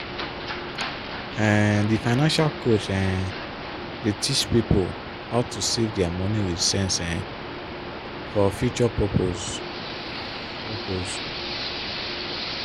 um di financial coach um dey teach pipo how to save dia money with sense um for future purpose. purpose.